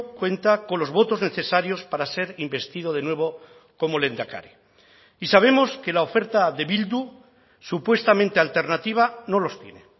cuenta con los votos necesarios para ser investido de nuevo como lehendakari y sabemos que la oferta de bildu supuestamente alternativa no los tiene